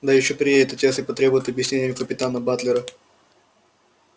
да ещё приедет отец и потребует объяснения у капитана батлера